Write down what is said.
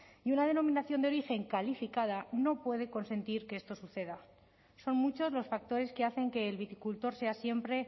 y una denominación de origen calificada no puede consentir que esto suceda son muchos los factores que hacen que el viticultor sea siempre